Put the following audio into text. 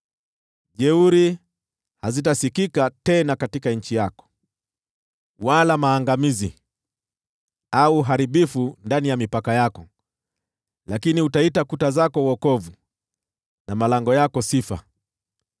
Jeuri hazitasikika tena katika nchi yako, wala maangamizi au uharibifu ndani ya mipaka yako, lakini utaita kuta zako Wokovu, na malango yako Sifa.